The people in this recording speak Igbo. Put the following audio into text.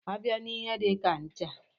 A bịa n'ihe dika ncha.